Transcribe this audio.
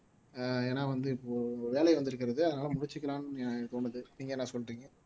ஏன்னா வந்து இப்போ வேலை வந்திருக்கிறது அதனால முடிச்சுக்கலாம்னு தோணுது நீங்க என்ன சொல்றீங்க